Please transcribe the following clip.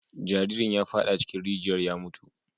Jaririn ya fada cikin rijiyar ya mutu.